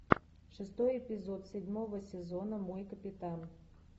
шестой эпизод седьмого сезона мой капитан